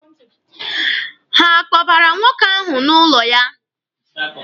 Ha akpọbara nwoke ahụ n'ụlọ ya?